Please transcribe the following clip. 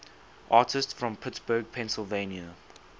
artists from pittsburgh pennsylvania